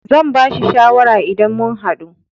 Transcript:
zan bashi shawara idan mun haɗu.